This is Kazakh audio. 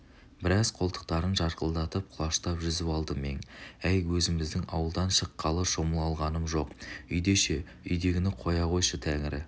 біраз қолтықтарын жарқылдатып құлаштап жүзіп алды мең әй өзіміздің ауылдан шыққалы шомыла алғаным жоқ үйде ше үйдегіні қойшы тәңірі